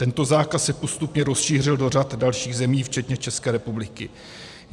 Tento zákaz se postupně rozšířil do řady dalších zemí včetně České republiky.